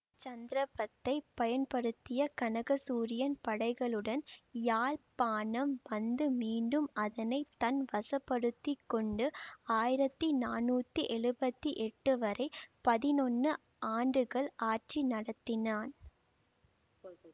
சந்தர்ப்பத்தை பயன்படுத்திய கனகசூரியன் படைகளுடன் யாழ்ப்பாணம் வந்து மீண்டும் அதனை தன் வசப்படுத்திக் கொண்டு ஆயிரத்தி நானூத்தி எழுவத்தி எட்டு வரை பதினொன்னு ஆண்டுகள் ஆட்சி நடத்தினான்